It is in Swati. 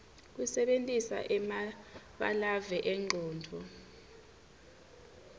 kusebentisa emabalave engcondvo